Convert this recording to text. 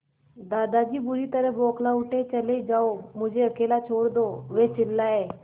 दादाजी बुरी तरह बौखला उठे चले जाओ मुझे अकेला छोड़ दो वे चिल्लाए